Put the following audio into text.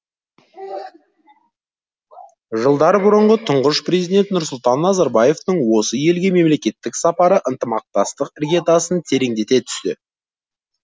жылдар бұрынғы тұңғыш президент нұрсұлтан назарбаевтың осы елге мемлекеттік сапары ынтымақтастық іргетасын тереңдете түсті